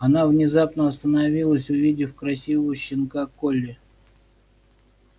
она внезапно остановилась увидев красивого щенка колли